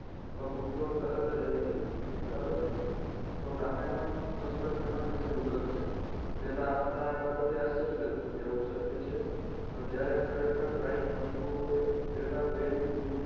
તો કુતરો તરત જ આવી જશે બરાબરને તો રામાયણમાં પુસ્તક વિમાન વિશે ઉલ્લેખ છે પહેલા આપણને આ બાબતે આશ્ચર્ય થતું કે આવું શક્ય છે પણ જ્યારે ખરેખર right બંધુઓએ પહેલા વહેલું